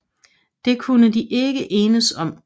Det kunne de ikke enes om